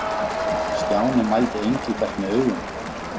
Stjáni mældi Engilbert með augunum.